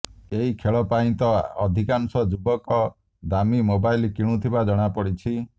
ଏହି ଖେଳ ପାଇଁ ତ ଅଧିକାଂଶ ଯୁବକ ଦାମୀ ମୋବାଇଲ୍ କିଣୁଥିବା ଜଣାପଡିଛି